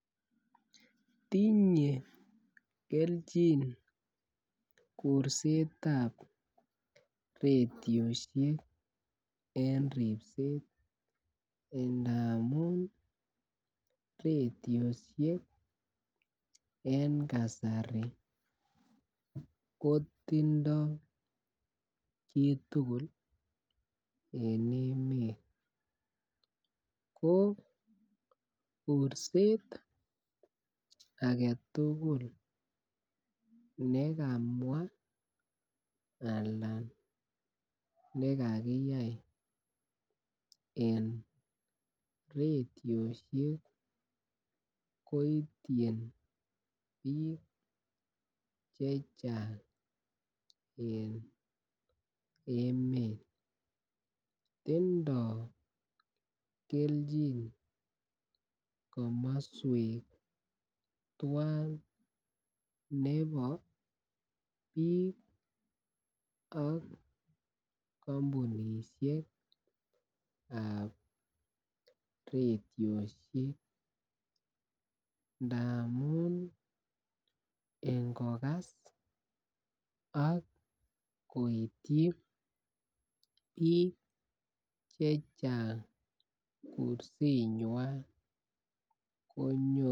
Tinye keljin kursetab redioishek en ripset ndamun radioishek en kasari kotindo chitukul en emet ko kurset agetutuk nekamwa alan nekakiyai en radioishek koityin bik chechang en emet, tindo keljin komoswek twan nebo bik ak komounishekab radioishek ndamun ingokas ak koityi bik chechang kursenywan konyoru.